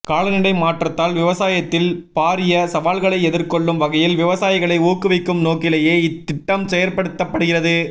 காலநிலை மாற்றத்தால் விவசாயத்தில் பாரிய சவால்களை எதிர்கொள்ளும் வகையில் விவசாயிகளை ஊக்குவிக்கும் நோக்கிலேயே இத்திட்டம் செயற்படுத்தப்படுகிறது